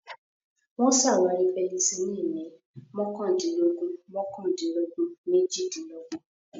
Wọ́n ṣàwárí Penicillin ní mọ́kàndínlógún mọ́kàndínlọ́gbọ̀n méjìdínlọ́gbọ̀n.